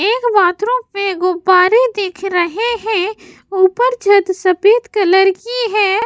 एक बाथरूम में गुब्बारे दिख रहे हैं ऊपर छत सफेद कलर की है।